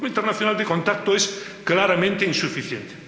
El Grupo Internacional de Contacto es claramente insuficiente.